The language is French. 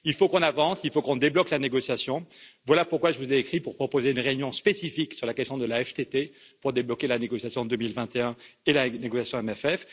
Il faut qu'on avance, il faut qu'on débloque la négociation, voilà pourquoi je vous ai écrit pour proposer une réunion spécifique sur la question de la TTF pour débloquer la négociation en 2021 et la négociation CFP.